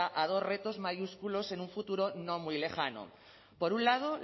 a dos retos mayúsculos en un futuro no muy lejano por un lado